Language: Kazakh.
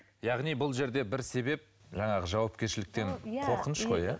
яғни бұл жерде бір себеп жаңағы жауапкершіліктен қорқыныш қой иә